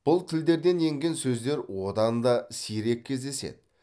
бұл тілдерден енген сөздер одан да сирек кездеседі